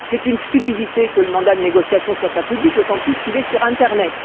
C'est une stupidité que le mandat de négociation ne soit pas public, d'autant plus qu'il est sur internet.